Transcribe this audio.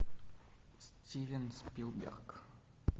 стивен спилберг